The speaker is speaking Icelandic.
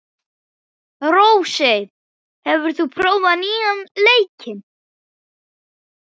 Rósey, hefur þú prófað nýja leikinn?